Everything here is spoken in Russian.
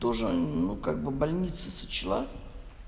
тоже ну как бы больница сочла